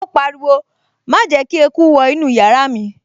Ó pariwo, 'Má jẹ́ kí eku wọ inú yàrá mi'